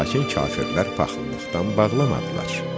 Lakin kafirlər paxıllıqdan bağlamadılar.